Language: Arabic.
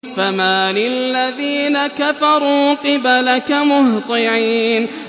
فَمَالِ الَّذِينَ كَفَرُوا قِبَلَكَ مُهْطِعِينَ